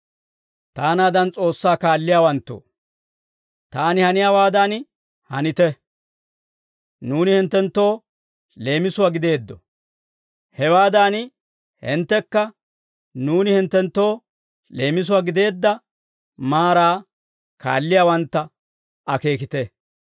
Taanaadan S'oossaa kaalliyaawanttoo, taani haniyaawaadan hanite. Nuuni hinttenttoo leemisuwaa gideeddo; hewaadan hinttekka nuuni hinttenttoo leemisuwaa gideedda maaraa kaalliyaawantta akeekite.